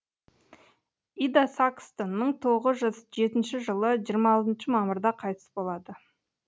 ида сакстон мың тоғыз жүз жетінші жылы жиыра алтыншы мамырда қайтыс болады